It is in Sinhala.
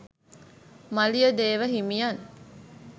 මලියදේව හිමියන්